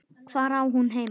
Hvar á hún heima?